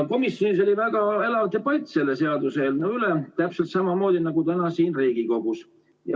Komisjonis oli väga elav debatt selle seaduseelnõu üle, täpselt samamoodi nagu täna siin Riigikogus.